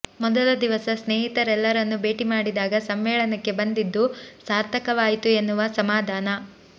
ಮೊದಲ ದಿವಸ ಸ್ನೇಹಿತರೆಲ್ಲರನ್ನೂ ಭೇಟಿ ಮಾಡಿದಾಗ ಸಮ್ಮೇಳನಕ್ಕೆ ಬಂದಿದ್ದು ಸಾರ್ಥಕವಾಯಿತು ಎನ್ನುವ ಸಮಾಧಾನ